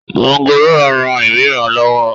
mọ́ngòròń rán ìríran lọ́wọ́